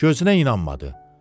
Gözünə inanmadı.